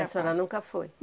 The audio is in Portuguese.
E a senhora nunca foi?